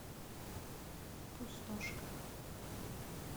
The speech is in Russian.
пустошка